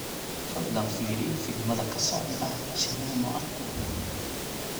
fadlan fiiri filimada ka socda shineemo agteeda